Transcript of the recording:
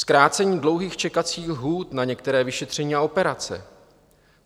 Zkrácení dlouhých čekacích lhůt na některé vyšetření a operace.